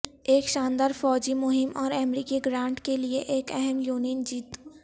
ایک شاندار فوجی مہم اور امریکی گرانٹ کے لئے ایک اہم یونین جیت